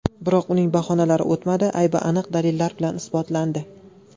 Biroq uning bahonalari o‘tmadi, aybi aniq dalillar bilan isbotlandi.